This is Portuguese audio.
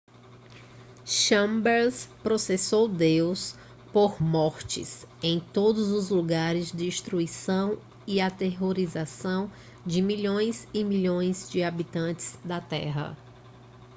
chambers processou deus por mortes em todos os lugares destruição e aterrorização de milhões e milhões de habitantes da terra